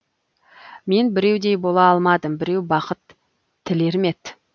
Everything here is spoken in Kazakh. мен біреудей бола алмадым біреу бақыт тілермет